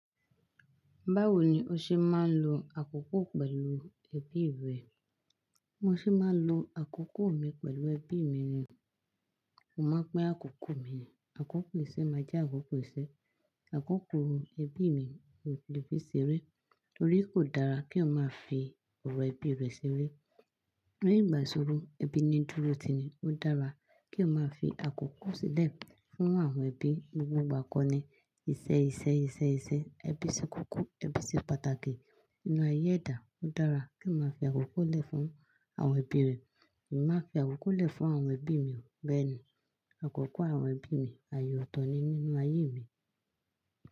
Báwo ni o ṣe máa ń lo àkókò pẹ̀lú ẹbí rẹ Mo ṣe máa ń lo àkókò mi pẹ̀lú ẹbí mi. Mo máa ń pin àkókò mi, àkókò ìṣe máa jẹ́ àkókò ìṣe, àkókò ẹbí mi ni mo fi ṣeré. Nítorí kò dára kí o máa fi ọ̀rọ̀ ẹbí rẹ ṣeré. Ní ìgbà iṣoro ẹbí ni dúró tìnì. Ó dára kí èèyàn máa fi àkókò sílẹ̀ fún àwọn ẹbí gbogbo ìgbà kan ni. Iṣẹ́, iṣẹ́, iṣẹ́, iṣẹ́, ẹbí ṣe kókó, ẹbí ṣe pàtàkì nínú ayé ẹ̀dá. Ó dára kí èèyàn máa fi àkókò lẹ̀ fún àwọn ẹbí rẹ. Èmi máa ń fi àkókò lẹ̀ fún àwọn ẹbí mi bẹ́ẹ̀ ni. Àkókò àwọn ẹbí mi ayè ọ̀tọ̀ ni nínú ayé mi.